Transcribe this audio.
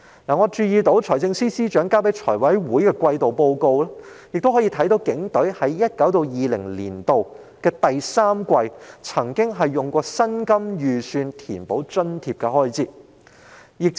我注意到在財政司司長提交財務委員會的季度報告中，載述警隊在 2019-2020 年度第三季，曾使用薪金預算填補津貼開支。